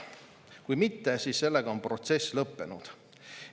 Kui mitte, siis sellega on protsess lõppenud.